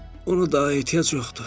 Ona daha ehtiyac yoxdur.